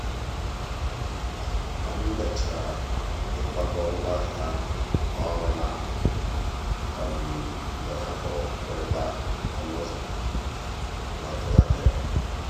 ka m mechara ịkwakọ ngwaahịa ọrụ n'akụkụ mgbe ha kụrụ mgbịrịgba ọnụ ụzọ na-atụghị anya ya.